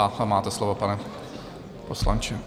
A máte slovo, pane poslanče.